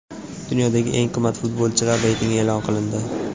Dunyoning eng qimmat futbolchilari reytingi e’lon qilindi.